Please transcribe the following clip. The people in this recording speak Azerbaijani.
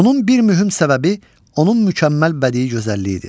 Bunun bir mühüm səbəbi onun mükəmməl bədii gözəlliyidir.